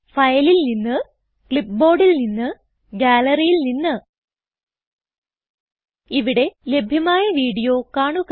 ഫയലിൽ നിന്ന് clipboardൽ നിന്ന് ഗ്യാലറിയിൽ നിന്ന് ഇവിടെ ലഭ്യമായ വീഡിയോ കാണുക